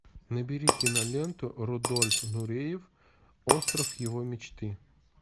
набери киноленту рудольф нуреев остров его мечты